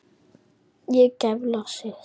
Og geiflar sig.